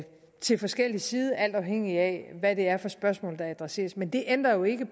til forskellig side alt afhængigt af hvad det er for spørgsmål der adresseres men det ændrer jo ikke